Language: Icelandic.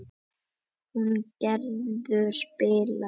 Húngerður, spilaðu lag.